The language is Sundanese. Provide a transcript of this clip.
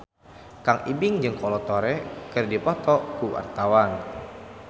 Kang Ibing jeung Kolo Taure keur dipoto ku wartawan